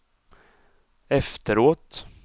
efteråt